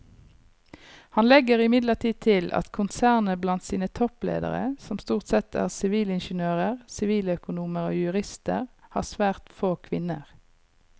Han legger imidlertid til at konsernet blant sine toppledere som stort sette er sivilingeniører, siviløkonomer og jurister har svært få kvinner.